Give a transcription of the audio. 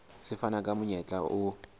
se fana ka monyetla o